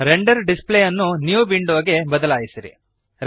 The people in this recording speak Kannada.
ರೆಂಡರ್ ಡಿಸ್ಪ್ಲೇ ಅನ್ನು ನ್ಯೂ ವಿಂಡೋ ಗೆ ಬದಲಾಯಿಸಿರಿ